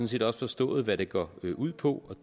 set også forstået hvad det går ud på